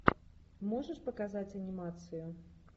можешь показать анимацию